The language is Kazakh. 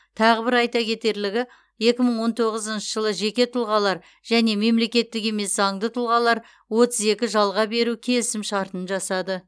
тағы бір айта кетерлігі екі мың он тоғызыншы жылы жеке тұлғалар және мемлекеттік емес заңды тұлғалар отыз екі жалға беру келісімшартын жасады